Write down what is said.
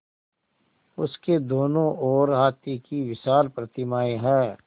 उसके दोनों ओर हाथी की विशाल प्रतिमाएँ हैं